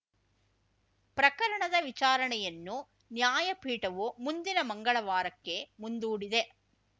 ಪ್ರಕರಣದ ವಿಚಾರಣೆಯನ್ನು ನ್ಯಾಯಪೀಠವು ಮುಂದಿನ ಮಂಗಳವಾರಕ್ಕೆ ಮುಂದೂಡಿದೆ